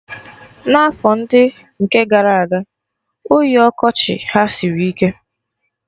N'afọ ndị nke gara aga, oyi ọkọchị ha sịrị ike